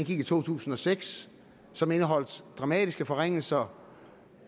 i to tusind og seks som indeholdt dramatiske forringelser